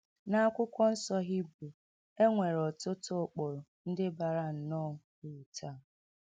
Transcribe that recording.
N’Akwụkwọ Nsọ Hibru, e nwere ọtụtụ ụkpụrụ ndị bara nnọọ uru taa.